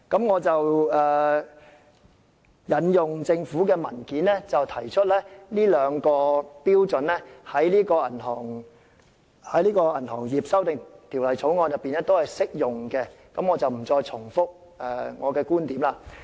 我引用政府文件提出的這兩項標準均適用於《2017年銀行業條例草案》，但我不會再重複我的觀點。